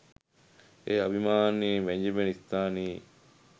එය අභිමානයෙන් වැජඹෙන ස්ථානයේ